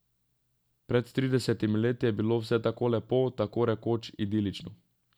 Pred tridesetimi leti je bilo vse tako lepo, tako rekoč idilično.